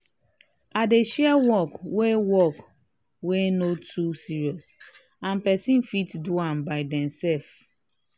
i dey share work wey work wey no too serious and pesin fit do by demsef.